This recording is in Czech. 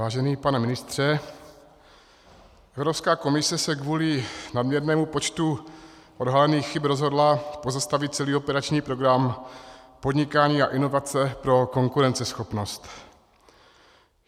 Vážený pane ministře, Evropská komise se kvůli nadměrnému počtu odhalených chyb rozhodla pozastavit celý operační program Podnikání a inovace pro konkurenceschopnost.